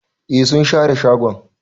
Eh sun share shagon.